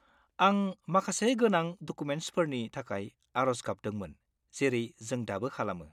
आं माखासे गोनां डकुमेन्टसफोरनि थाखाय आरज गाबदोंमोन जेरै जों दाबो खालामो।